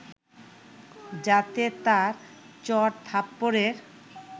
যাতে তার চড়-থাপ্পড়ের